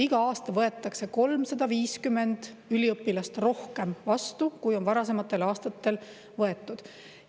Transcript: Iga aasta võetakse vastu 350 üliõpilast rohkem, kui on varasematel aastatel võetud.